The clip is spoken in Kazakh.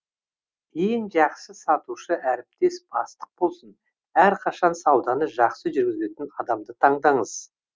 ең жақсы сатушы әріптес бастық болсын әрқашан сауданы жақсы жүргізетін адамды таңдаңыз